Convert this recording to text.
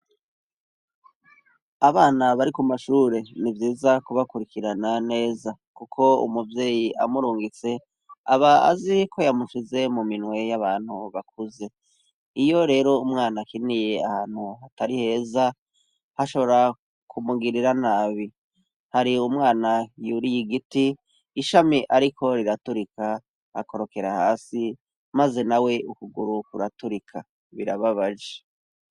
Abana bari ku mashure ni vyiza kubakurikirana neza kuko umuvyeyi amurungitse aba azi ko yamusize mu minwe y'abantu bakuze. Iyo rero umwana akiniye ahantu hatari heza hashobora kumugirira nabi. Hari umwana yuriye igiti, ishami ariko riraturika, akorokera hasi, maze nawe ukuguru kuraturika birababaje.